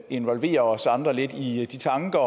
involvere os andre lidt i de tanker